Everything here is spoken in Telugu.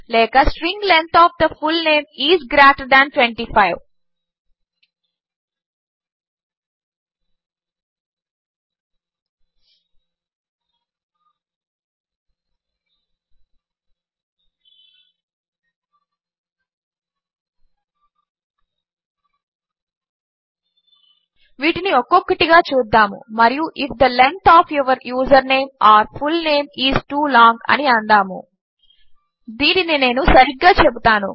లేక string length of the full name is greater than 25 వీటిని ఒక్కొక్కటిగా చూద్దాము మరియు if the length of your username or full name is too long అని అందాము దీనిని నేను సరిగ్గా చెబుతాను